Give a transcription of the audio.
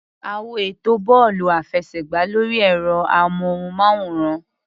A wo ètò bọ́ọ̀lù-àfẹsẹ̀gbá lórí ẹ̀rọ-amóhùnmáwòrán.